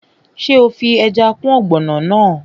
Ṣé o fi ẹja kún ọ̀gbọ̀nọ̀ náà?